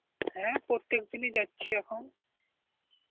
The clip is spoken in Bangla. হ্যাঁ, প্রত্যেকদিনই যাচ্ছি এখন.